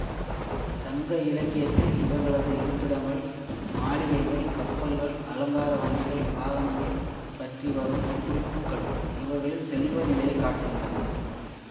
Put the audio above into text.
சங்க இலக்கியத்தில் இவர்களது இருப்பிடங்கள் மாளிகைகள் கப்பல்கள் அலங்கார வண்டிகள் வாகனங்கள் பற்றி வரும் குறிப்புக்கள் இவர்களின் செல்வ நிலையை காட்டுகின்றன